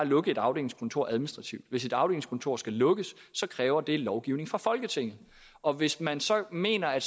lukke et afdelingskontor administrativt hvis et afdelingskontor skal lukkes kræver det lovgivning fra folketinget og hvis man så mener at